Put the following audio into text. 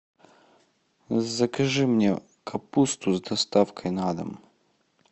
закажи мне капусту с доставкой на дом